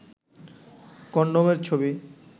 condom এর ছবি